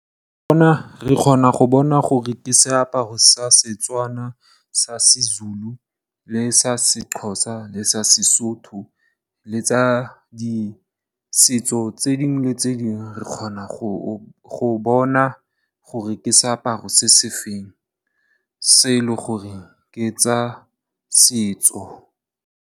Re kgona go bona gore ke seaparo sa Setswana sa Sezulu, le sa Sexhosa, le sa Sesotho, le tsa ditso tse dingwe le tse dingwe. Re kgona go bona gore ke seaparo se se feng se e leng gore ke tsa setso.